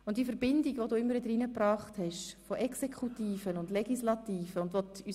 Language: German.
Und die Verbindung zwischen Exekutive und Legislative, hast du immer wieder eingebracht.